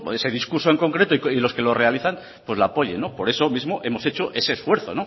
ese discurso en concreto y lo que lo realizan pues la apoyen por eso mismo hemos hecho ese esfuerzo